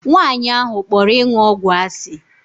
Nwaanyị ahụ kpọrọ ịṅụ ọgwụ asị.